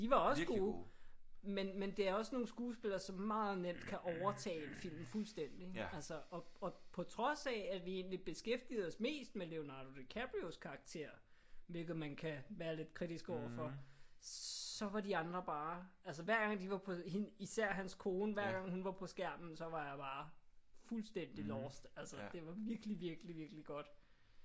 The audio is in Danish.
De var også gode. Men men det er også nogle skuespillere som meget nemt kan overtage en film fuldstændig ik? Altså og og på trods af at vi egentlig beskæftigede os mest med Leonardo DiCaprios karakter hvilket man kan være lidt kritisk overfor så var de andre bare altså hver gang de var på hende især hans kone hver gang hun var på skærmen så var jeg bare fuldstændig lost. Altså det var virkelig virkelig godt